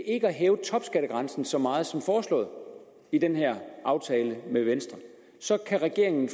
ikke at hæve topskattegrænsen så meget som foreslået i den her aftale med venstre så kan regeringen